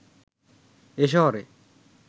এ শহরে